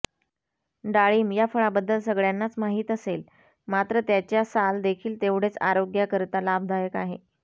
डाळिंब या फळाबद्दल सगळ्यांनाच माहित असेल मात्र त्याच्या साल देखील तेवढेच आरोग्याकरिता लाभदायक आहे